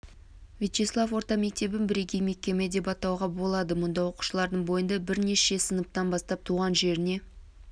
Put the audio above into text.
вячеслав орта мектебін бірегей мекеме деп атауға болады мұнда оқушылардың бойында бірінші сыныптан бастап туған жеріне